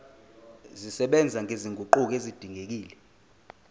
zisebenza nezinguquko ezidingekile